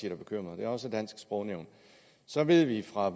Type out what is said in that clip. er bekymret det er også dansk sprognævn så ved vi fra